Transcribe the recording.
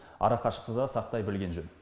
арақашықты да сақтай білген жөн